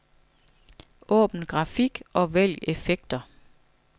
Åbn grafik og vælg effekter.